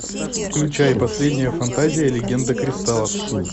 включай последняя фантазия легенда кристаллов